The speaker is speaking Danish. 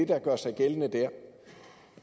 der gør sig gældende der